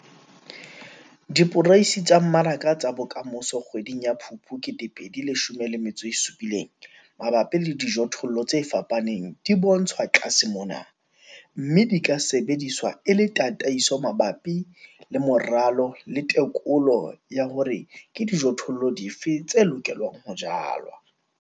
Diporeisi tsa mmaraka tsa bokamoso kgweding ya Phupu 2017 mabapi le dijothollo tse fapaneng di bontshwa tlase mona, mme di ka sebediswa e le tataiso mabapi moralo le tekolo ya hore ke dijothollo dife tse lokelang ho jalwa.